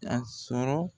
A sɔrɔ